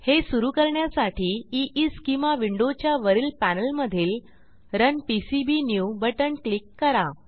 हे सुरू करण्यासाठी ईस्केमा विंडोच्या वरील पॅनेल मधील रन पीसीबीन्यू बटण क्लिक करा